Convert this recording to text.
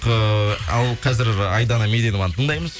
ііі ал қазір айдана меденованы тыңдаймыз